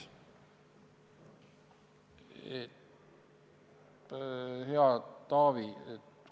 Hea Taavi!